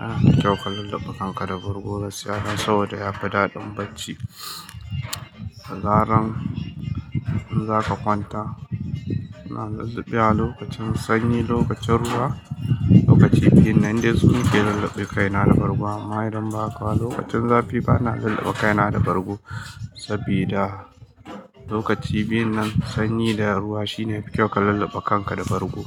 A'a, kyau ka lullube kanka da bargo gaskiya dan saboda ya fi daɗin bacci. Dazaran in zaka kwanta ina lillibewa lokacin sanyi lokacin ruwa lokaci biyunnan dai sunake lillibe kaina da bargon amma idan bahaka ba lokacin zafi bana lillibe kaina da bargo saboda lokaci biyun nan sanyi da ruwa shine yafi kyau ka lulluɓe kanka da bargo.